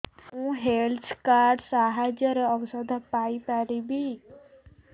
ମୁଁ health card ସାହାଯ୍ୟରେ ଔଷଧ ପାଇ ପାରିବି